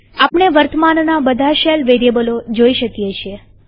આપણે વર્તમાનના બધા શેલ વેરીએબલો જોઈ શકીએ છીએ